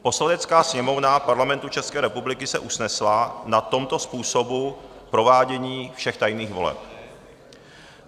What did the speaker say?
"Poslanecká sněmovna Parlamentu České republiky se usnesla na tomto způsobu provádění všech tajných voleb: